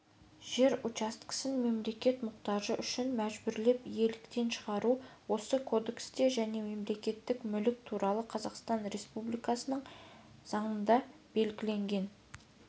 жер учаскесін мемлекет мұқтажы үшін мәжбүрлеп иеліктен шығару осы кодексте және мемлекеттік мүлік туралы қазақстан республикасының заңында белгіленген